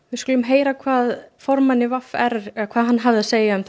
við skulum heyra hvað formaður v r hafði að segja um